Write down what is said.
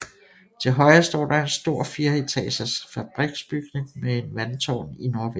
Til højre står der en stor fireetagers fabriksbygning med en vandtårn i nordvest